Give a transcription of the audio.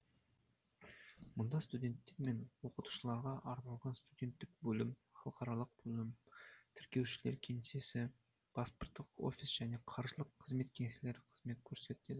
мұнда студенттер мен оқытушыларға арналған студенттік бөлім халықаралық бөлім тіркеушілер кеңсесі паспорттық офис және қаржылық қызмет кеңселері қызмет көрсетеді